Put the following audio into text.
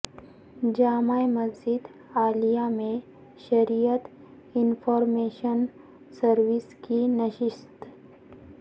جامع مسجد عالیہ میں شریعت انفارمیشن سرویس کی نشست